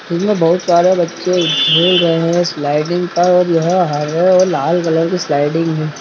इसमें बहुत सारे बच्चे खेल रहे हैं स्लाइडिंग पर और यहाँ हरे और लाल कलर की स्लाइडिंग है |